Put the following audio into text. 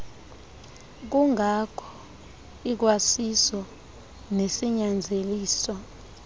kungko ikwasiso nesinyanzeliso